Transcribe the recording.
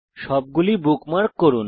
সবগুলি বুকমার্ক করুন